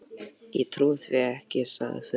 Ég trúi því ekki, sagði Friðrik.